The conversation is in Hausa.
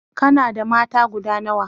kana da mata guda nawa?